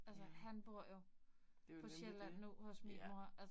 Ja. Det jo nemlig det. Ja